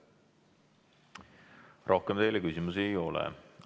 Rohkem teile küsimusi ei ole.